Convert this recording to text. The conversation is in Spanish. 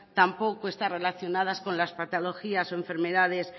tampoco está relacionadas con las patologías o enfermedades